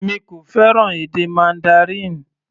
Èmi kò fẹ́ràn èdè Mandarin.